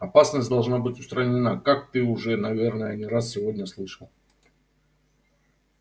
опасность должна быть устранена как ты уже наверное не раз сегодня слышал